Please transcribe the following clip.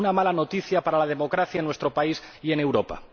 Una mala noticia para la democracia en nuestro país y en Europa.